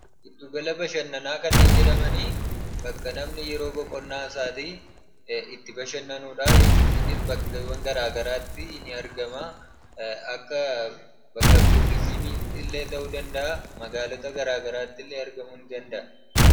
Giddugala bashannanaa kanneen jedhamani bakka namni yeroo boqonnaa isaatii itti bashannanudha jechuudha. Innis bakkeewwan garagaraatti ni argama. Akka bakka tuurizimiitti illee ta'uu danda'a; magaalota garaagaraatti illee argamuu nidanda'a.